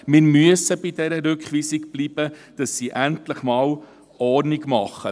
– Wir müssen bei dieser Rückweisung bleiben, damit sie endlich einmal Ordnung schaffen.